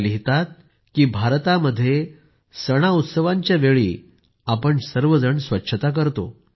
त्यांनी लिहिले आहे की भारतामध्ये सणउत्सवांना आपण सर्वजण स्वच्छता साजरी करतो